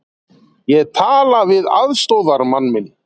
Ég tala við aðstoðarmann minn.